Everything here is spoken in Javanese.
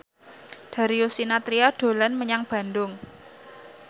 Darius Sinathrya dolan menyang Bandung